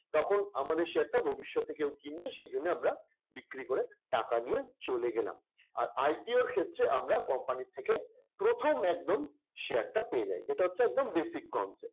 তখন আমাদের share টা ভবিষ্যতে কেউ কিনবে সেজন্য আমরা বিক্রি করে টাকা নিয়ে চলে গেলাম। আর IPO র ক্ষেত্রে আমরা company র থেকে প্রথম একদম share টা পেয়ে যাই। এটা হচ্ছে একদম basic concept